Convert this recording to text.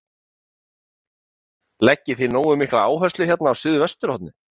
Höskuldur: Leggið þið nógu mikla áherslu hérna á suðvesturhornið?